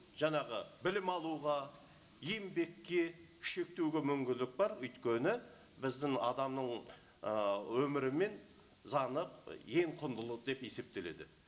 жаңағы білім алуға еңбекке шектеуге мүмкіндік бар өйткені біздің адамның ы өмірі мен заңы ең құндылық деп есептеледі